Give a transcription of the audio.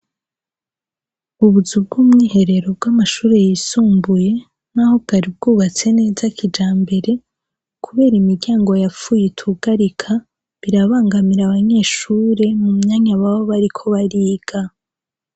Ubuzu bw'umwiherero bw'amashure yisumbuye, naho bwari bwubatse neza kijambere, kubera imiryango yapfuye itugarika, birabangamira abanyeshure mu mwanya baba bariko bariga.